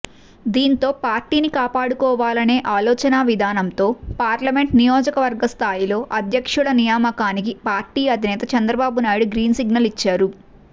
దీంతో పార్టీని కాపాడుకోవాలనే ఆలోచనా విధానంతో పార్లమెంట్ నియోజకవర్గ స్థాయిలో అధ్యక్షుల నియమాకానికి పార్టీ అధినేత చంద్రబాబునాయుడు గ్రీన్సిగ్నల్ ఇచ్చారు